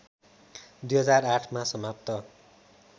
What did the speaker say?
२००८ मा समाप्त